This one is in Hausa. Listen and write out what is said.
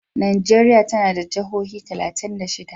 Najeriya tana da jihohi talatin da shida.